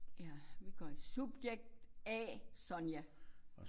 Ja vi gør subjekt A Sonja